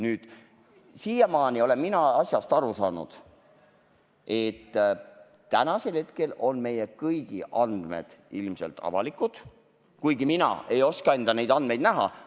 Nüüd, siiamaani olen mina asjast aru saanud nii, et tänasel hetkel on meie kõigi andmed ilmselt avalikud, kuigi mina ei oska enda andmeid vaadata.